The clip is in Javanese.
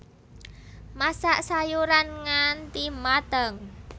Masak sayuran nganti mateng